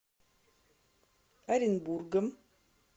оренбургом